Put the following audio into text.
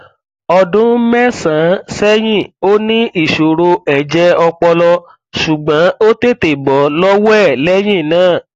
ọdún mẹsànán sẹyìn ó ní ìṣòro ẹjẹ ọpọlọ ṣùgbọn ó tètè bọ lọwọ ẹ lẹyìn náà